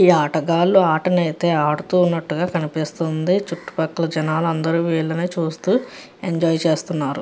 ఈ ఆటగాళ్లు ఆట ని అయితే ఆడుతున్నట్టుగా కనిపిస్తుంది చుట్టూ పక్కల జనాలు అందరూ వీళ్ళని చూస్తూ ఎంజాయ్ చేస్తున్నారు.